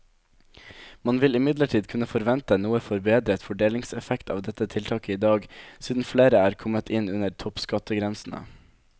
Man vil imidlertid kunne forvente noe forbedret fordelingseffekt av dette tiltaket i dag, siden flere er kommet inn under toppskattgrensene.